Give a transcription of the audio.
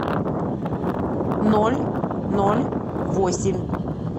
ноль ноль восемь